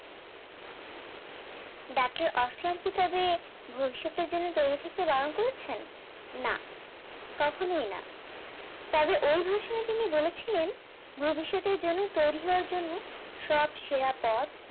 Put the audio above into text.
battle ভবিষৎ এর জন্য তৈরী থাকতে বারণ করেছেন না কখনোই না তবে ওই version এ তিনি বলেছিলেন ভবিষৎ এর জন্য তৈরী হওয়ার জন্য সব সেরা পথ